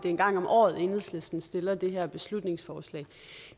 er en gang om året at enhedslisten stiller det her beslutningsforslag